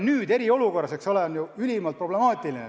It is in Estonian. Eriolukorras oli see kohaleminek ülimalt problemaatiline.